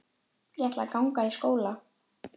Ég ætla að ganga í skóla.